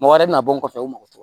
Mɔgɔ wɛrɛ bɛ na bɔ n kɔfɛ o mago